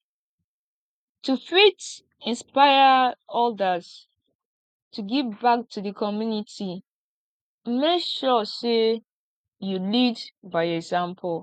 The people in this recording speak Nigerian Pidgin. to fit inspire others to give back to di community make sure say you lead by example